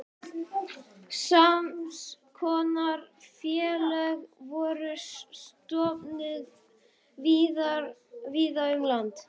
Sams konar félög voru stofnuð víða um land.